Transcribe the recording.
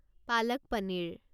palak paneer